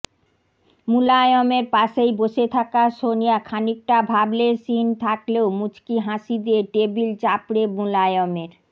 মুলায়মের পাশেই বসে থাকা সনিয়া খানিকটা ভাবলেশহীন থাকলেও মুচকি হাসি দিয়ে টেবিল চাপড়ে মুলায়মের